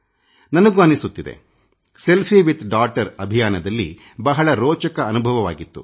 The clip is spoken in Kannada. ನನಗೂ ಅನ್ನಿಸುತ್ತಿದೆ ಸೆಲ್ಫಿ ವಿತ್ ಡಾಟರ್ ಅಭಿಯಾನದಲ್ಲಿ ಬಹಳ ರೋಚಕ ಅನುಭವವಾಗಿತ್ತು